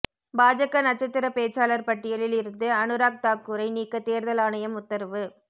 பாஜக நட்சத்திர பேச்சாளர் பட்டியலில் இருந்து அனுராக் தாக்கூரை நீக்க தேர்தல் ஆணையம் உத்தரவு